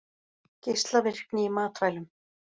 Geislavirkni í matvælum